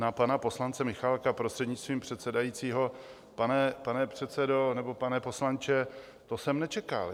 Na pana poslance Michálka, prostřednictvím předsedajícího, pane předsedo nebo pane poslanče, to jsem nečekal!